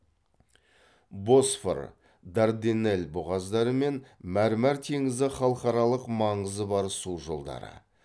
босфор дарданелл бұғаздары мен мәрмәр теңізі халықаралық маңызы бар су жолдары